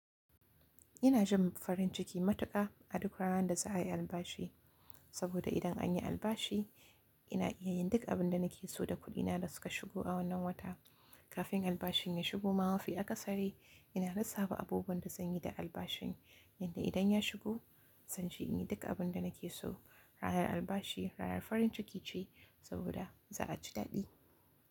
Ina jin farin ciki matuƙa, aduk ranan da za a yi albashi, saboda idan an yi albashi ina iya yin duk abin da nake so da kuɗina da suka shigo a wannan wata. Kafin albashin ya shigo, ma mafi aka sare, ina lissafa abubuwan da zan yi da albashin, yadda idan ya shigo, zan je in yi duk abin da nake so. Ranar albashi ranar farin ciki ce saboda za a ci daɗi.